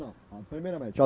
primeiramente.